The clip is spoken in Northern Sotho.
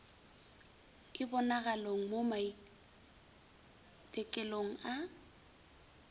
e bonagalogo mo maitekelong a